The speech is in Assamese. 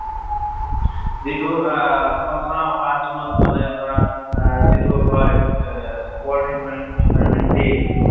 যিটো আ মই চাওঁ পাঁছ june ত মানে ধৰা আহ যিটো হয় এহ world environment day যিটো